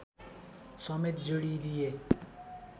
समेत जोडिदिए